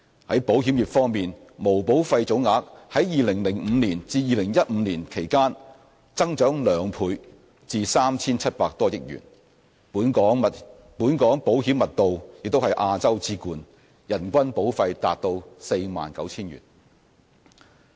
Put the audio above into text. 在保險業方面，毛保費總額在2005年至2015年期間增長兩倍至 3,700 多億元；本港保險密度也是亞洲之冠，人均保費達 49,000 元。